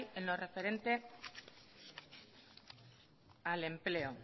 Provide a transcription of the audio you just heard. en lo referente al empleo